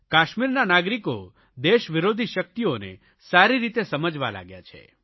કાશ્મીરના નાગરિકો દેશવિરોધી શકિતઓને સારી રીતે સમજવા લાગ્યા છે